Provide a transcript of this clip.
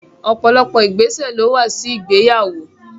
Ọ̀pọ̀lọpọ̀ ìgbésẹ̀ lówà sí ìgbéyàwó.